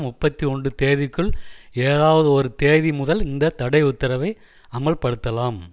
முப்பத்தி ஒன்றுந் தேதிக்குள் ஏதாவது ஒரு தேதி முதல் இந்த தடை உத்தரவை அமல்படுத்தலாம்